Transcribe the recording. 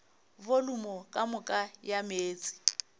volumo ka moka ya meetse